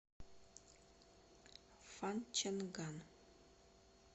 фанчэнган